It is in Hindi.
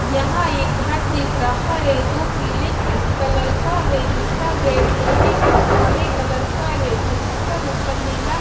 यहाँ एक घर दिख रहा है जो पीले कलर का है जिसका गेट लोहे का काले कलर का है जिस पर ऊपर नीला--